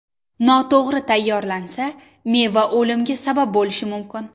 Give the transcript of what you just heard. Noto‘g‘ri tayyorlansa, meva o‘limga sabab bo‘lishi mumkin.